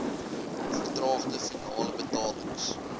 vertraagde finale betalings